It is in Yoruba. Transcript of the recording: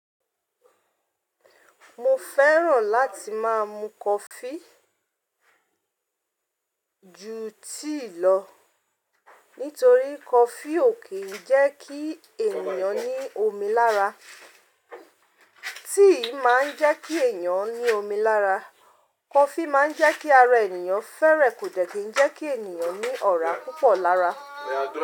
Mo fẹ́ràn láti máa mu coffee, ju tea lọ nítorí coffee ò kí ń jẹ́ kí ènìyàn ní omi lára. Tea máa ń jẹ́ kí ènìyàn ní omi lára. Coffee máa ń jẹ́ kí ara ènìyàn fẹ́rẹ̀, kò dẹ́ kí ń jẹ́ kí ènìyàn ní ọ̀rá púpọ̀ lára.